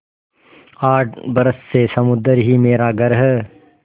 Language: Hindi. आठ बरस से समुद्र ही मेरा घर है